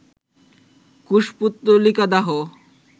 কুশপুত্তলিকা দাহ